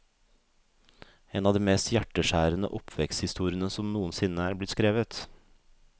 En av de mest hjerteskjærende oppveksthistoriene som noen sinne er blitt skrevet.